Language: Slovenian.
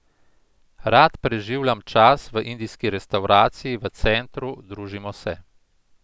Rad preživljam čas v indijski restavraciji v centru, družimo se.